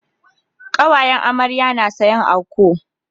Kawayen amarya na sayan anco